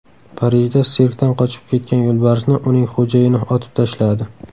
Parijda sirkdan qochib ketgan yo‘lbarsni uning xo‘jayini otib tashladi.